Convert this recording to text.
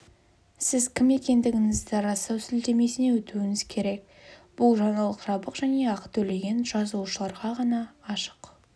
сіз кім екендігіңізді растау сілтемесіне өтуіңіз керек бұл жаңалық жабық және ақы төлеген жазылушыларға ғана ашық